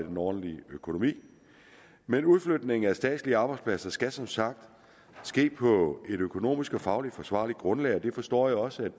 en ordentlig økonomi men udflytningen af statslige arbejdspladser skal som sagt ske på et økonomisk og fagligt forsvarligt grundlag og det forstår jeg også